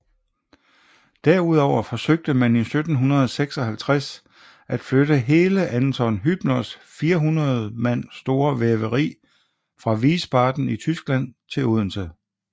Derudover forsøgte man i 1756 at flytte hele Anton Hübners 400 mand store væveri fra Wiesbaden i Tyskland til Odense